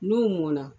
N'u mɔnna